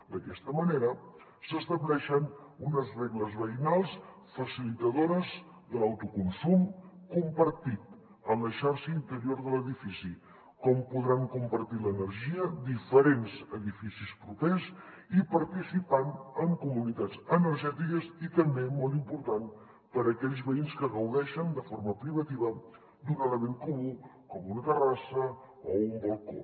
d’aquesta manera s’estableixen unes regles veïnals facilitadores de l’autoconsum compartit en la xarxa interior de l’edifici com podran compartir l’energia diferents edificis propers i participant en comunitats energètiques i també molt important per a aquells veïns que gaudeixen de forma privativa d’un element comú com una terrassa o un balcó